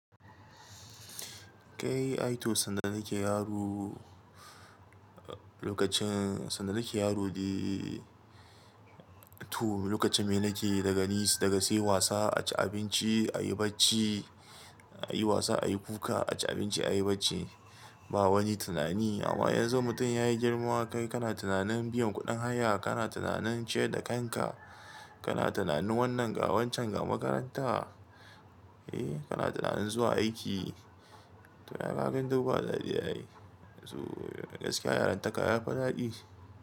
Kai, ai to sanda nake yaro, lokacin sanda nake yaro dai, to lokacin me nake daga ni daga sai wasa, a ci abinci, a yi bacci, a yi wasa, a yi kuka, a ci abinci, a yi bacci. Ba wani tunani. Amma yanzu mutum ya yi girma, kai kana tunanin biyan kuɗin haya, kana tunanin ciyar da kanka, kana tunanin wannan ga wancan ga makaranta, eh kana tunanin zuwa aiki. To ga ya nan dai ba duk ba daɗi yayi. To gaskiya yaran taka yafi daɗi.